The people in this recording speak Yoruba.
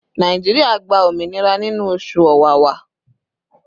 Nàìjíríà gba òmìnira nínú oṣù Ọ̀wàwà